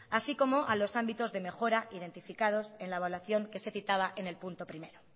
así como a los ámbitos de mejora identificados en la evaluación que se citaba en punto primero